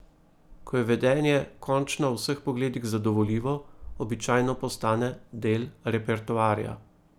Ko je vedenje končno v vseh pogledih zadovoljivo, običajno postane del repertoarja.